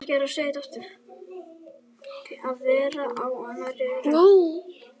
Að vera á annarri öldu